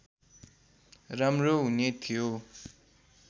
राम्रो हुने थियो